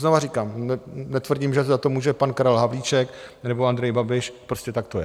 Znova říkám, netvrdím, že za to může pan Karel Havlíček nebo Andrej Babiš, prostě tak to je.